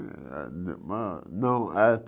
Ah ma na não eh